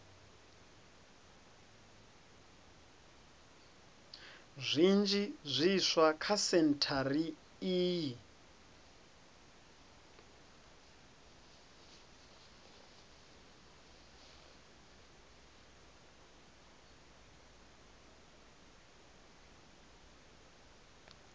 zwinzhi zwiswa kha sentshari iyi